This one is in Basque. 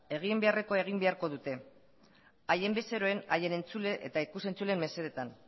egin beharrekoa egin beharko dute haien bezeroen haien entzule eta ikus entzuleen mesedetan